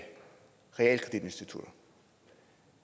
realkreditinstitutter